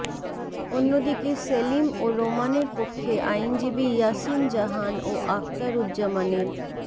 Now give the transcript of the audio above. অন্যদিকে সেলিম ও রোমানের পক্ষে আইনজীবী ইয়াসিন জাহান ও আক্তারুজ্জামানের